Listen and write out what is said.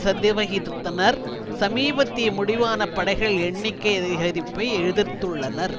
சதவிகிதத்தினர் சமீபத்திய முடிவான படைகள் எண்ணிக்கை அதிகரிப்பை எதிர்த்துள்ளனர்